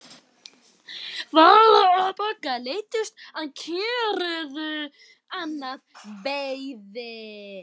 Vala og Bogga leiddust og kjökruðu annað veifið.